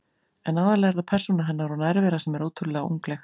En aðallega er það persóna hennar og nærvera sem er ótrúlega ungleg.